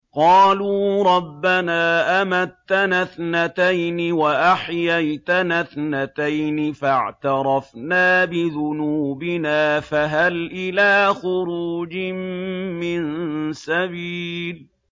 قَالُوا رَبَّنَا أَمَتَّنَا اثْنَتَيْنِ وَأَحْيَيْتَنَا اثْنَتَيْنِ فَاعْتَرَفْنَا بِذُنُوبِنَا فَهَلْ إِلَىٰ خُرُوجٍ مِّن سَبِيلٍ